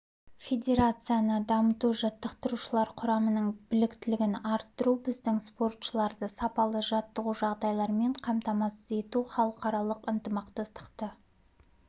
федерацияны дамыту жаттықтырушылар құрамының біліктілігін арттыру біздің спортшыларды сапалы жаттығу жағдайларымен қамтамасыз ету халықаралық ынтымақтастықты